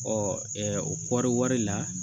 o kɔɔriwari la